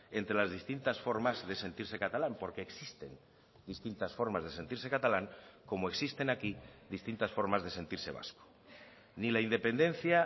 entre las distintas formas de sentirse catalán porque existen distintas formas de sentirse catalán como existen aquí distintas formas de sentirse vasco ni la independencia